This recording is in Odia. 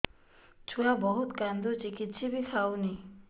ଛୁଆ ବହୁତ୍ କାନ୍ଦୁଚି କିଛିବି ଖାଉନି